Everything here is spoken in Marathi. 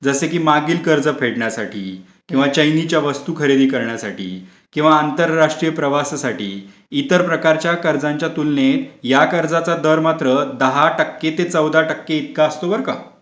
जसा कि माघील कर्ज फेडण्यासाठी किंवा चैनीच्या वस्तू खरीदी करण्यासाठी किंवा आंतरराष्ट्रीय प्रवासासाठी इतर प्रकारचा कर्जाचा तुलतेनेत या कर्जाचा प्रकार दहा ते पंधरा टक्के असतो बारा काय.